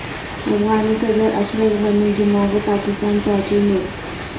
افغان صدر اشرف غنی جمعہ کو پاکستان پہنچیں گے